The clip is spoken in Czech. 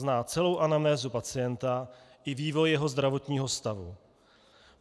Zná celou anamnézu pacienta i vývoj jeho zdravotního stavu.